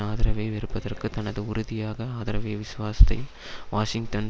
ஆதரவை வெறுப்பதற்கு தனது உறுதியாக ஆதரவை விசுவாசத்தை வாஷிங்டன்